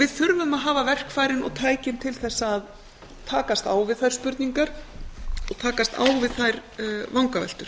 við þurfum að hafa verkfærin og tækin til þess að takast á við þær spurningar og takast á við þær vangaveltur